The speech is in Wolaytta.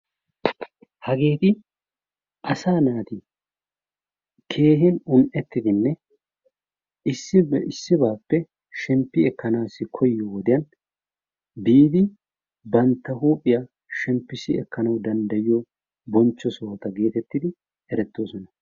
Hageeti asaa naati keehin un'ettidinne issibay issibaappe shemppi ekanaassi koyiyo wodiyan biidi bantta huuphphiya shemppissi ekanawu dandayiyo bonchcho sohota geetettidi erettoosona.